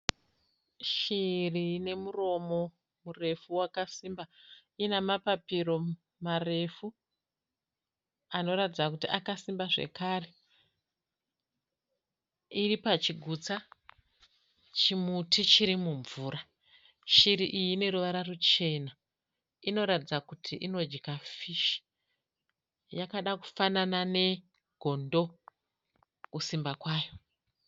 Shiri ine muromo murefu wakasimba. Ina mapapiro marefu anoratidza kuti akasimba zvakare. Iri pachigutsa chimuti chiri mumvura. Shiri iyi ine ruvara ruchena. Inoratidza kuti inodya fishi. Yakada kufanana negondo kusimba kwayo.